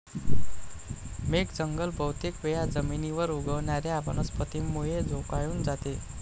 मेघ जंगल बहुतेक वेळा जमीनीवर उगवणाऱ्या वनस्पतींमुळे झोकाळून जाते.